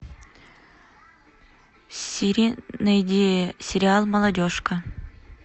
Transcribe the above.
сири найди сериал молодежка